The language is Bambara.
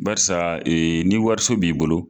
Barisa ni wariso b'i bolo.